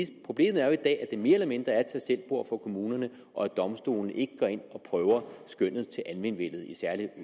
problemet er jo i dag at det mere eller mindre er et tagselvbord for kommunerne og at domstolene ikke går ind og prøver skønnet til almenvellet i særlig